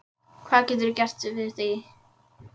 Hvað geturðu gert við því?